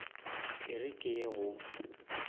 e re ke ye go